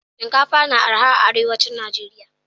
Shinkafa na araha arewacin nageria